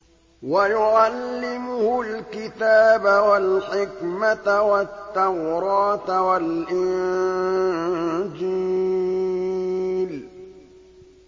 وَيُعَلِّمُهُ الْكِتَابَ وَالْحِكْمَةَ وَالتَّوْرَاةَ وَالْإِنجِيلَ